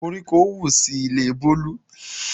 Koríko wù sí ilé Bolu